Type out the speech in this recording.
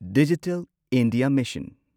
digital India mission